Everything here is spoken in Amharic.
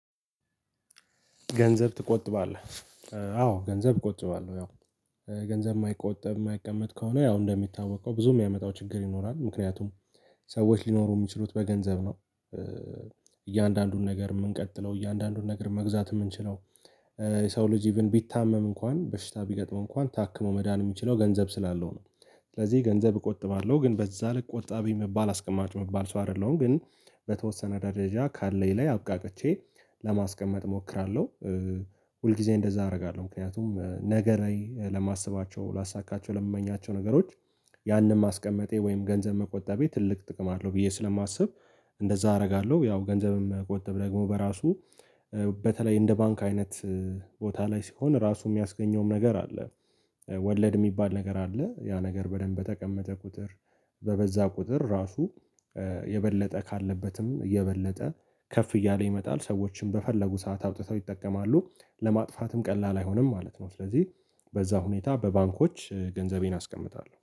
ገንዘብ ትቆጥባለህ? አዎ ገንዘብ እቆጥባለሁ። ያው ገንዘብ እማይቆጠብ እማይቀመጥ ከሆነ ያው እንደሚታወቀው ብዙ ከሚያመጣው ችግር ይኖራል ምክንያቱም ሰዎች ሊኖሩ እሚችሉት በገንዘብ ነው ኧ። እያንዳንዱን ነገር እምንቀጥለው እያንዳንዱን ነገር መግዛት እምንችለው ኧ የሰው ልጅ ኢቭን ቢታመም እንኳን በሽታ ቢገጥመው እንኳን ታክሞ መዳን እሚችለው ገንዘብ ስላለው ነው። ስለዚህ ገንዘብ እቆጥባለሁ ግን በዛ ልክ ቆጣቢ እምባል አስቀማጭ እምባል ሰው አይደለሁም ግን በተወሰነ ደረጃ ካለኝ ላይ አብቃቅቼ ለማስቀመጥ እሞክራለሁ። ኧ ሁልጊዜ እንደዛ አደርጋለሁ ምክንያቱም ነገ ላይ ለማስባቸው ላሳካቸው ለምመኛቸው ነገሮች ያንን ማስቀመጤ ወይም ገንዘብ መቆጠቤ ትልቅ ጥቅም አለው ብዬ ስለማስብ። እንደዛ አረጋለሁ ያው ገንዘብም መቆጠብ ደግሞ በራሱ ኧ በተለይ እንደ ባንክ አይነት ቦታ ላይ ሲሆን ራሱ እሚያስገኘውም ነገር አለ። ወለድ እሚባል ነገር አለ ያ ነገር በደንብ በተቀመጠ ቁጥር በበዛ ቁጥር ራሱ የበለጠ ካለበትም የበለጠ ከፍ እያለ ይመጣል። ሰዎችም በፈለጉ ሰዓት አውጥተው ይጠቀማሉ ለማጥፋትም ቀላል አይሆንም ማለት ነው። ስለዚህ በዛ ሁኔታ በባንኮች ገንዘቤን አስቀምጣለሁ